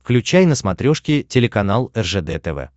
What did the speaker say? включай на смотрешке телеканал ржд тв